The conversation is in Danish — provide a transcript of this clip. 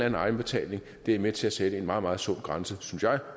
egenbetaling er med til at sætte en meget meget sund grænse synes jeg